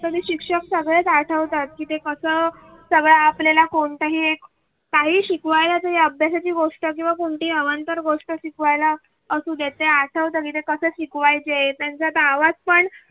कधी शिक्षक सगळ्याच आठवतात की ते कसा सगळ्या आपल्याला कोणता हे काही शिकवायच्या अभ्यासाची गोष्ट किंवा कोणती अवांतर गोष्ट शिकवायला असध्यात ते आठवत सगळं कसं शिकवायचे त्यांचा आवाज पण.